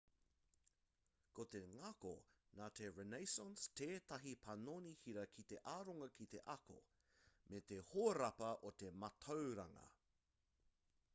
ko te ngako nā te renaissance tētahi panoni hira ki te aronga ki te ako me te hōrapa o te mātauranga